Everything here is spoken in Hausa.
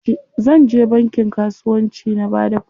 Zanje bankin kasuwanci na bada kuɗina jari.